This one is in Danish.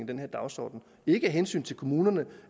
den her dagsorden det er ikke af hensyn til kommunerne